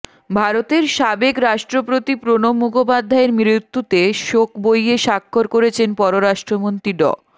ভারতের সাবেক রাষ্ট্রপতি প্রণব মুখোপাধ্যায়ের মৃত্যুতে শোক বইয়ে স্বাক্ষর করেছেন পররাষ্ট্রমন্ত্রী ড